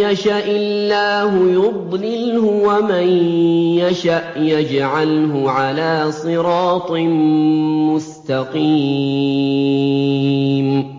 يَشَإِ اللَّهُ يُضْلِلْهُ وَمَن يَشَأْ يَجْعَلْهُ عَلَىٰ صِرَاطٍ مُّسْتَقِيمٍ